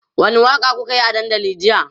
wani Waka kukayi a dandali jiya?